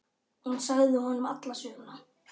Hún sagði honum alla söguna.